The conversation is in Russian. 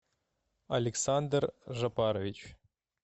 александр жапарович